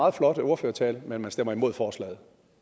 meget flot ordførertale men at man stemmer imod forslaget